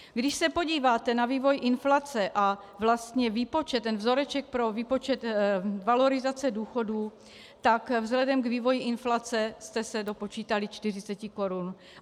Když se podíváte na vývoj inflace a vlastně výpočet, ten vzoreček pro výpočet valorizace důchodů, tak vzhledem k vývoji inflace jste se dopočítali 40 korun.